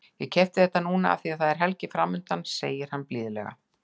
Ég keypti þetta núna af því að það er helgi framundan, segir hann blíðlega.